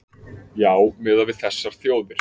Já miðað við þessar þjóðir